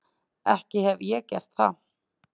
Ekki hefi ég gert það.